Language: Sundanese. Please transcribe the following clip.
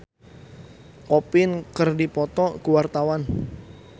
Nadia Mulya jeung Pierre Coffin keur dipoto ku wartawan